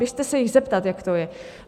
Běžte se jich zeptat, jak to je.